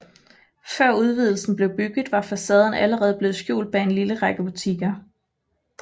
Før udvidelsen blev bygget var facaden allerede blevet skjult bag en lille række butikker